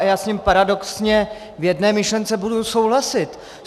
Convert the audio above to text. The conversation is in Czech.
A já s ním paradoxně v jedné myšlence budu souhlasit.